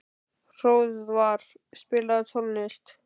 Hróðvar, spilaðu tónlist.